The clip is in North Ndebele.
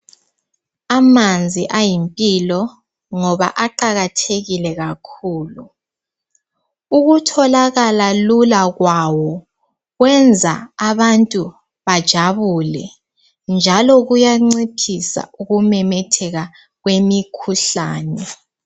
Amanzi ayimpilo ngoba aqakathekile kakhulu. Ukutholakala lula kwawo kwenza abantu bajabule njalo kuyanciphisa ukumemetheka kwemikhuhlane.